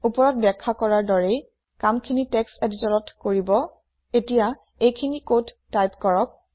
উপৰত বাখ্যা কৰাৰ দৰেই কাম খিনি টেক্সট এদিটিৰত কৰিব এতিয়া এইখিনি কোড টাইপ কৰক